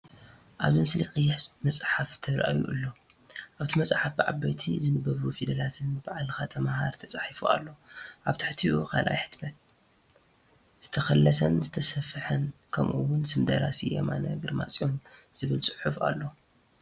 ኣብዚ ምስሊ ቀይሕ መጽሓፍ ተራእዩ ኣሎ። ኣብታ መጽሓፍ ብዓበይትን ዝንበቡን ፊደላት “ባዕልካ ተመሃር” ተጻሒፉ ኣሎ። ኣብ ትሕቲኡ “ካልኣይ ሕታም፡ ዝተኸለሰን ዝተሰፍሐን” ከምኡ’ውን ስም ደራሲ “የማነ ግርማጽዮን” ዝብል ጽሑፍ ኣሎ።